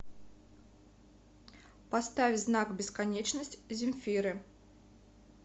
поставь знак бесконечность земфиры